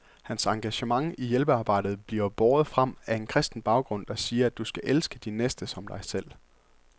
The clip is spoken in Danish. Hans engagement i hjælpearbejdet bliver båret frem af en kristen baggrund, der siger, at du skal elske din næste som dig selv.